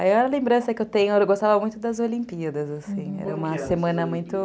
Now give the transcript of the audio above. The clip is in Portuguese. Aí é uma lembrança que eu tenho, eu gostava muito das Olimpíadas, assim, era uma semana muito